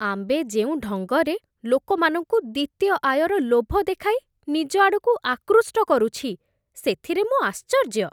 Amway ଯେଉଁ ଢଙ୍ଗରେ ଲୋକମାନଙ୍କୁ ଦ୍ୱିତୀୟ ଆୟର ଲୋଭ ଦେଖାଇ ନିଜ ଆଡ଼କୁ ଆକୃଷ୍ଟ କରୁଛି, ସେଥିରେ ମୁଁ ଆଶ୍ଚର୍ଯ୍ୟ।